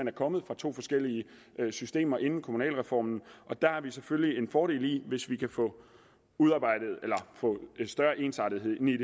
er kommet fra to forskellige systemer inden kommunalreformen og der er det selvfølgelig en fordel hvis vi kan få en større ensartethed ind i